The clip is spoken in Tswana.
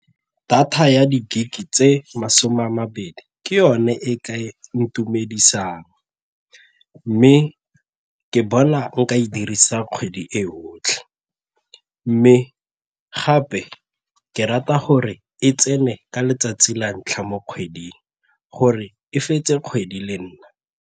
Data ya di-gig-e tse masome a mabedi ke yone e ka ntumedisang mme ke bona nka e dirisa kgwedi e otlhe mme gape ke rata gore e tsene ka letsatsi la ntlha mo kgweding gore e fetse kgwedi le nna.